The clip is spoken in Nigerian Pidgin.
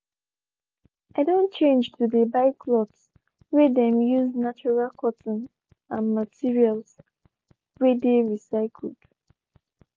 i don change to dey buy cloths whey them use natural cotton and materials. whey dey recycled.